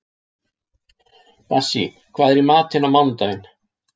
Bassí, hvað er í matinn á mánudaginn?